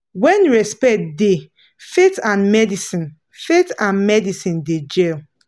when respect da faith and medicine faith and medicine da jell